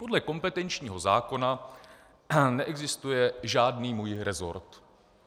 Podle kompetenčního zákona neexistuje žádný můj resort.